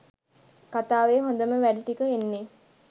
කථාවේ හොඳම වැඩ ටික එන්නේ.